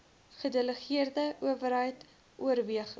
gedelegeerde owerheid oorweging